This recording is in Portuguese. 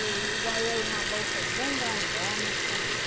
E ganhei uma bolsa bem grandona.